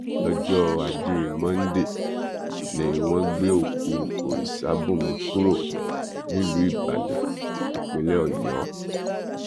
lọjọ ajé monde ni wọn gbé òkú orìṣàbùnmí kúrò nílùú ìbàdàn ìpínlẹ ọyọ